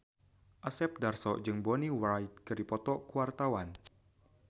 Asep Darso jeung Bonnie Wright keur dipoto ku wartawan